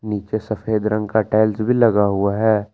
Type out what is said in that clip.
नीचे सफेद रंग का टाइल्स भी लगा हुआ है।